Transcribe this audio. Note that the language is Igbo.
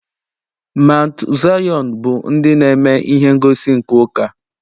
Maụntụ Zayọn bụ ndị na-eme ihe ngosi nke ụka.